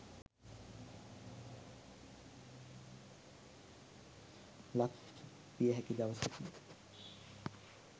ලක්විය හැකි දවසකි.